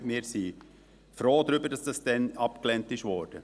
Wir sind froh darüber, dass das damals abgelehnt wurde.